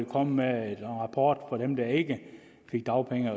komme med en rapport for dem der ikke fik dagpenge